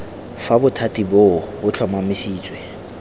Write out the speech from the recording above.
fa bothati boo bo tlhomamisitswe